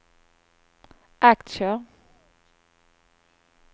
aktier